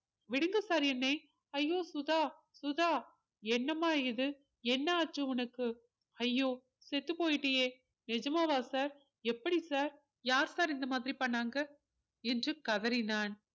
விடுங்க sir என்னை ஐயோ சுதா சுதா என்னம்மா இது என்ன ஆச்சு உனக்கு ஐயோ செத்துப் போயிட்டியே நிஜமாவா sir எப்படி sir யார் sir இந்த மாதிரி பண்ணாங்க என்று கதறினான்